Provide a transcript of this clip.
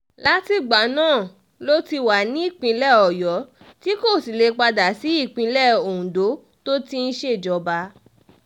látìgbà náà ló ti wà nípìnlẹ̀ ọ̀yọ́ tí kò sì lè padà sí ìpínlẹ̀ ondo tó ti ń ṣèjọba